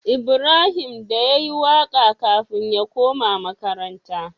Ibrahim da yayi waƙa kafin ya koma makaranta